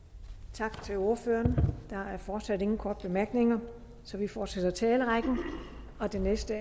tak til ordføreren der er fortsat ingen korte bemærkninger så vi fortsætter med talerrækken den næste